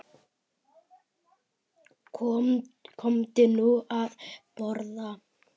Komdu nú að borða